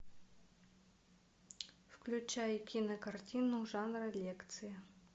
включай кинокартину жанра лекция